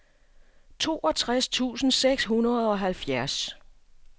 toogtres tusind seks hundrede og halvfjerds